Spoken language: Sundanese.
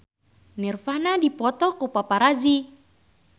Nirvana dipoto ku paparazi